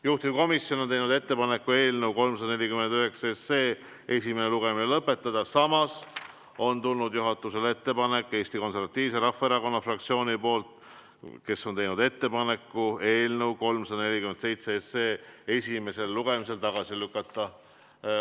Juhtivkomisjon on teinud ettepaneku eelnõu 347 esimene lugemine lõpetada, samas on tulnud juhatusele ettepanek Eesti Konservatiivse Rahvaerakonna fraktsiooni poolt, kes on teinud ettepaneku eelnõu 347 esimesel lugemisel tagasi lükata.